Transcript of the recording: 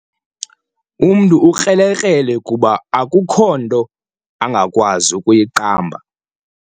Umntu ukrelekrele kuba akukho nto angakwazi kuyiqamba.